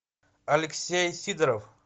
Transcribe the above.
алексей сидоров